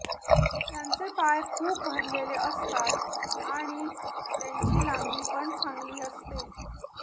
ज्यांचे पाय खूप भरलेली असतात आणि त्यांची लांबी पण चांगली असते